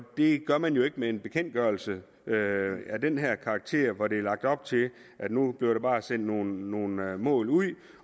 det gør man jo ikke med en bekendtgørelse af den her karakter hvor der er lagt op til at nu bliver der bare sendt nogle nogle mål ud